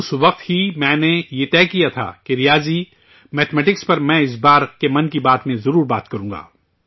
اس وقت ہی میں نے یہ طے کیا تھا کہ ریاضی میتھ میٹکس پر میں اس بار کے 'من کی بات' میں ضرور چرچہ کروں گا